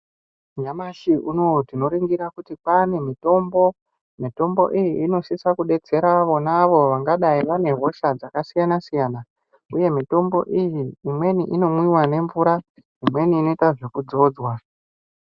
Nyamashi unoyu tinoringira kuti kwaane mitombo. Mitombo iyi, inosise kudetsera avonavo vanodai vanehosha dzakasiyana-siyana, uye mitombo iyi, imweni inomwiwa nemvura, imweni inoita zvekudzodzwa.